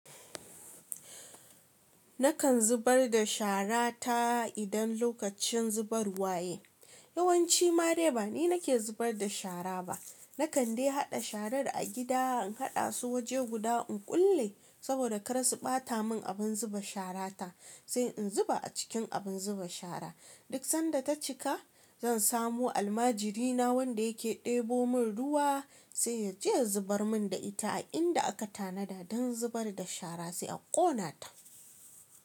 Nakan zubar da shara ta idan lokacin zubar wa ya yi. Yawanci ma dai ba ni nake zubar da shara ba. Na kande haɗa shara da a gida, in haɗa su waje guda in kulle saboda kar su ɓata mun abun zuba shara ta sai in zuba a cikin abun zuba shara. Duk sanda ta cika zan samu almajirina wanda yake ɗebo mun ruwa sai yace ya zubar mun da ita a inda aka tanada don zubar da shara sai a ƙona ta.